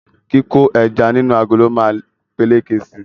Kíkó ẹja nínú agolo ma peléke si